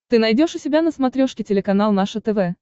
ты найдешь у себя на смотрешке телеканал наше тв